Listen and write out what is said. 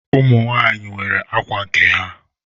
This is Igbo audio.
Ụmụ nwanyị nwere ákwà nke ha.